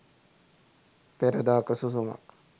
peradaka susumak